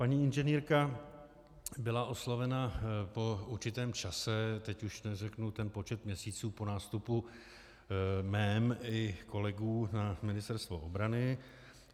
Paní inženýrka byla oslovena po určitém čase, teď už neřeknu ten počet měsíců, po nástupu mém i kolegů na Ministerstvo obrany.